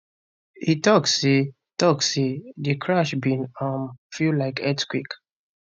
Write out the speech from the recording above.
e tok say tok say di crash bin um feel like earthquake